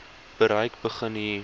bereik begin hier